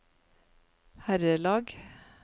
herrelag